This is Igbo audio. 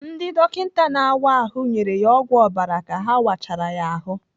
Ndị dọkịta na-áwá ahụ nyere ya ọgwụ ọbara ka ha wachara ya ahụ.